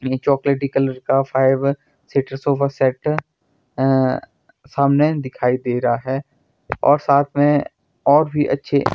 चॉकलेटी कलर का five seater sofa set अ सामने दिखाई दे रहा है और साथ में और भी अच्छे--